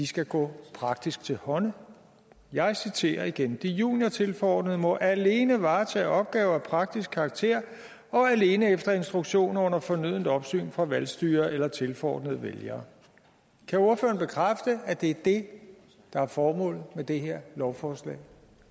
skal gå praktisk til hånde jeg citerer igen de juniortilforordnede må alene varetage opgaver af praktisk karakter og alene efter instruktion og under fornødent opsyn fra valgstyrere eller tilforordnede vælgere kan ordføreren bekræfte at det er det der er formålet med det her lovforslag